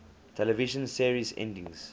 television series endings